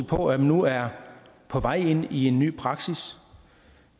på at vi nu er på vej ind i en ny praksis